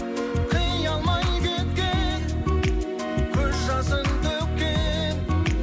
қия алмай кеткен көз жасын төккен